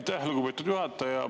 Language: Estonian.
Aitäh, lugupeetud juhataja!